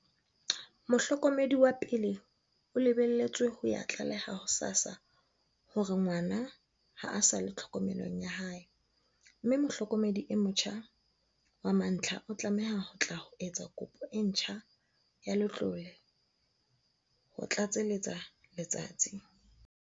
"Mohlokomedi wa pele o lebeletswe ho ya tlaleha ho SASSA hore ngwana ha a sa le tlhokomelong ya hae, mme mohlokomedi e motjha wa mantlha o tlameha ho tla ho etsa kopo e ntjha ya letlole," ho tlatseletsa Letsatsi.